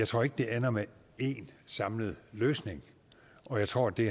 tror at det ender med én samlet løsning jeg tror at det